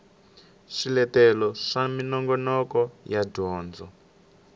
swiletelo swa minongoloko ya dyondzo